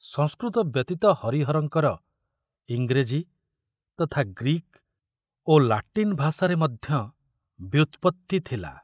ସଂସ୍କୃତ ବ୍ୟତୀତ ହରିହରଙ୍କର ଇଂରେଜୀ ତଥା ଗ୍ରୀକ ଓ ଲାଟିନ ଭାଷାରେ ମଧ୍ୟ ବ୍ୟୁତ୍ପତ୍ତି ଥିଲା।